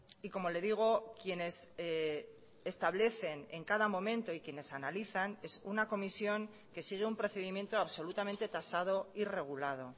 y como le digo quienes establecen en cada momento y quienes analizan es una comisión que sigue un procedimiento absolutamente tasado y regulado